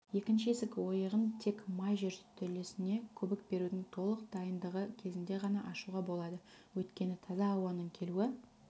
екінші есік ойығын тек май жертөлесіне көбік берудің толық дайындығы кезінде ғана ашуға болады өйткені таза ауаның келуі